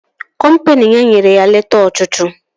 Kọmpini ya nyere ya leta ọchụchụ